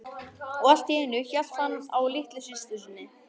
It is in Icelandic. Og allt í einu hélt hann á litlu systur sinni.